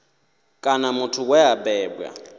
kana muthu we a bebwa